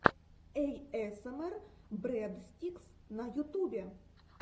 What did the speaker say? эйэсэмэр брэдстикс на ютубе